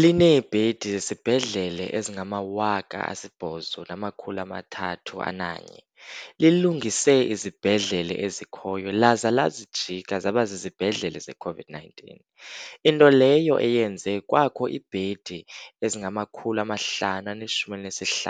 Lineebhedi zesibhedlele ezingama-8 301, lilungise izibhedlele ezikhoyo laza lazijika zaba zizibhedlele ze-COVID-19, into leyo eyenze kwakho iibhedi ezingama-555